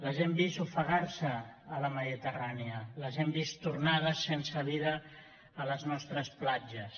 les hem vist ofegar se a la mediterrània les hem vist tornades sense vida a les nostres platges